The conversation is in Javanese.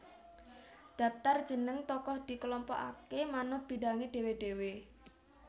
Dhaptar jeneng tokoh dikelompokake manut bidhange dhewe dhewe